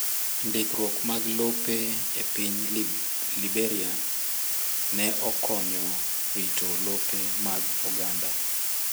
Ndikruok mag lope e piny Liberia ne okonyo rito lope mag oganda